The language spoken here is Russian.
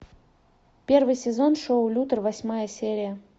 первый сезон шоу лютер восьмая серия